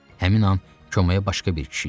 Həmin an komaya başqa bir kişi girdi.